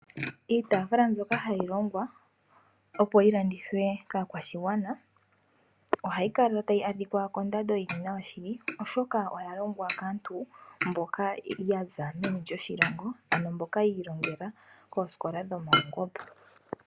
Iitaafula mbyoka hayi longwa opo yi landithwe kaakashigwana ohayi kala tayi adhika kondando yili nawa shili, oshoka oya longwa kaantu mboka ya za meni lyoshilongo, ano mboka yi ilongela koosikola dhomaungomba.